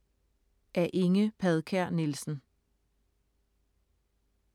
Af Inge Padkær Nielsen